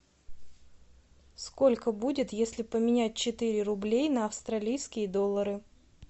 сколько будет если поменять четыре рублей на австралийские доллары